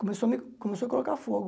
Começou a me começou a colocar fogo.